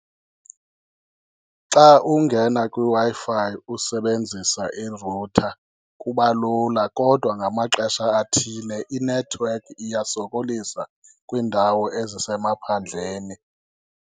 Xa ungena kwiWi-Fi usebenzisa i-router kubalula, kodwa ngamaxesha athile inethiwekhi iyasokolisa kwiindawo ezisemaphandleni.